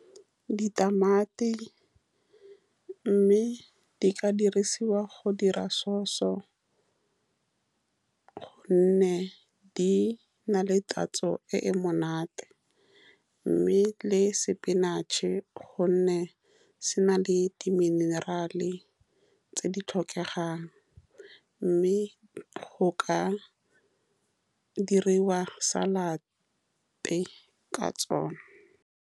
Ditamati, mme di ka dirisiwa go dira sause, ka gonne di na le tatso e e monate, mme le sepinatšhe, ka gonne se na le di-mineral-e tse di tlhokegang, mme go ka diriwa salad-e ka tsone.